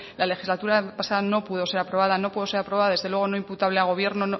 la legislatura pasada no pudo ser aprobada no pudo ser aprobada desde luego no imputable al gobierno